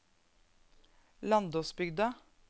Landåsbygda